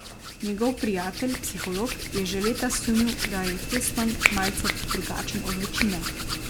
Njegov prijatelj, psiholog, je že leta sumil, da je Heston malce drugačen od večine.